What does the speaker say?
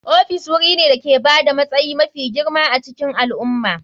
Ofis wuri ne da ke ba da matsayi mafi girma a cikin al'umma.